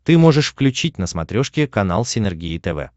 ты можешь включить на смотрешке канал синергия тв